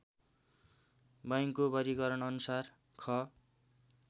बैङ्कको वर्गिकरणअनुसार ख